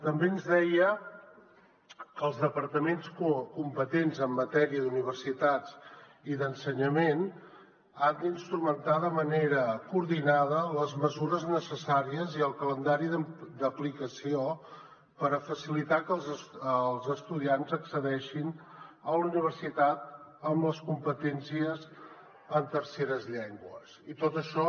també ens deia que els departaments competents en matèria d’universitats i d’ensenyament han d’instrumentar de manera coordinada les mesures necessàries i el calendari d’aplicació per facilitar que els estudiants accedeixin a la universitat amb les competències en terceres llengües i tot això